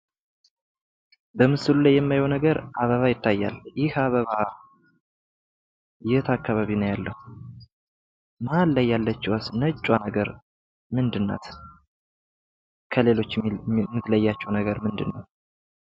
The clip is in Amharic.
በምስሉ ላይ የማየዉ ነገር አበባ ይታያል። ይህ አበባ የት አካባቢ ነዉ ያለዉ? መሀል ላይ ያለችዋስ ነጭ ነገር ምንድን ናት? ከሌሎች የምትለያቸዉ ነገር ምንድን ነዉ?